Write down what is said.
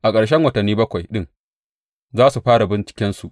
A ƙarshen watanni bakwai ɗin za su fara bincikensu.